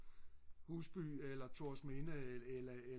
Husby eller Thorsminde eller